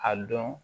A dɔn